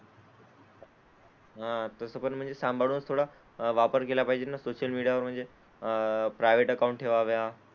हां तसं पण म्हणजे सांभाळूनच थोडा वापर केला पाहिजे ना सोशल मीडियावर म्हणजे अह प्रायव्हेट अकाउंट ठेवावे.